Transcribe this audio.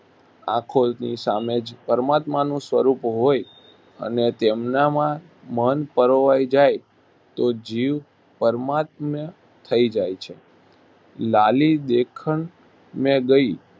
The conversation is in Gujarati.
આંખોની સામે જ પરમાત્માનું સ્વરૂપ હોય અને તેમનામાં મન પરોવાઈ જાય તો જીવ પરમાત્મ્ય થઈ જાય છે. લાલી દેખન મૈ ગઈ